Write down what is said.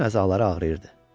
Bütün əzaları ağrıyırdı.